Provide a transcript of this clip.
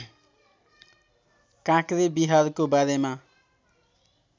काँक्रेबिहारको बारेमा